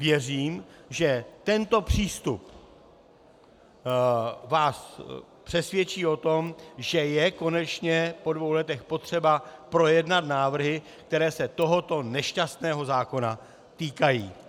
Věřím, že tento přístup vás přesvědčí o tom, že je konečně po dvou letech potřeba projednat návrhy, které se tohoto nešťastného zákona týkají.